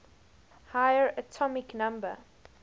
higher atomic number